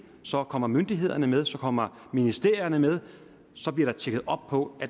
så kommer myndighederne med så kommer ministerierne med så bliver der tjekket op på